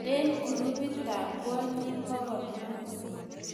eng grupitab kwonyik bokol mut